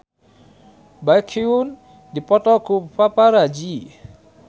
Baekhyun dipoto ku paparazi